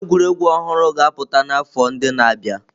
Egwuregwu ọhụrụ ga-apụta n'afọ ndị na-abịa.